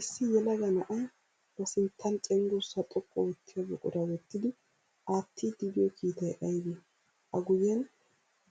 Issi yelaga na'ay ba sinttan cenggurssaa xoqqu oottiya buquraa wottidi aattiiddi diyo kiitay ayibee? A guyyen